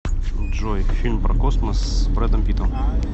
джой фильм про космос с брэдом питтом